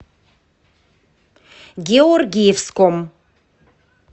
георгиевском